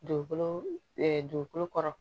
Dugukolo dugukolo kɔrɔ